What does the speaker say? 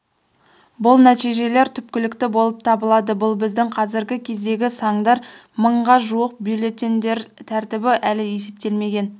бұл нәтижелер түпкілікті болып табылады бұл біздің қазіргі кездегі сандар мыңға жуық бюллетеньдер тәртібі әлі есептелмеген